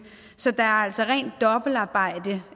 så der er altså rent dobbeltarbejde